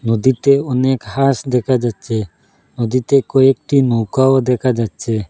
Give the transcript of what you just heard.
নদীতে অনেক হাস দেখা যাচ্ছে নদীতে কয়েকটি নৌকাও দেখা যাচ্ছে।